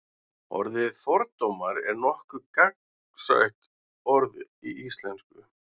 orðið fordómar er nokkuð gagnsætt orð í íslensku